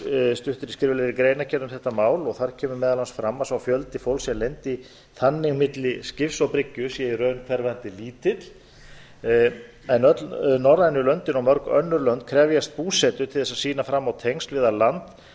stuttri greinargerð um þetta mál og þar kemur meðal annars fram að sá fjöldi fólks sem lenti þannig máli skips og bryggju sé í raun hverfandi lítill en öll norrænu löndin og mörg önnur lönd krefjast búsetu til að sýna fram á að tengsl eða land þar